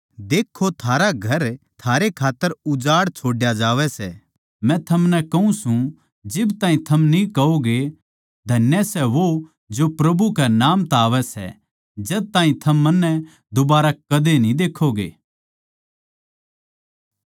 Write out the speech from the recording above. देक्खो थारा घर थारे खात्तर उजाड़ छोड्या जावै सै मै थमनै कहूँ सूं जिब ताहीं थम न्ही कहोगे धन्य सै वो जो प्रभु कै नाम तै आवै सै जद ताहीं थम मन्नै दुबारै कदे न्ही देक्खोगे